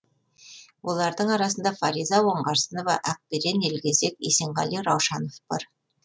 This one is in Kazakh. олардың арасында фариза оңғарсынова ақберен елгезек есенғали раушанов бар